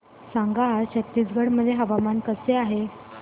सांगा आज छत्तीसगड मध्ये हवामान कसे आहे